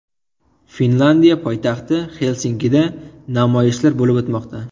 Finlyandiya poytaxti Xelsinkida namoyishlar bo‘lib o‘tmoqda.